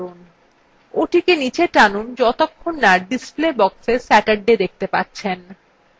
ওটিকে নীচে টানুন যতক্ষণ না পর্যন্ত display boxএ saturday দেখতে পাচ্ছেন